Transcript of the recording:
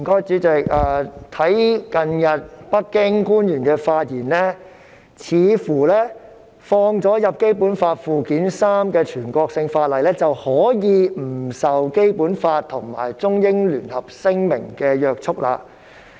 主席，北京官員近日的發言，似乎表示納入《基本法》附件三的全國性法律可以不受《基本法》及《中英聯合聲明》的約束。